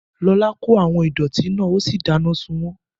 Lọlá kó àwọn ìdọ̀ọ̀tí náà ó sì dáná sun wọ́n